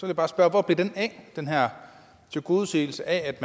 vil bare spørge hvor blev den af den her tilgodeseelse af at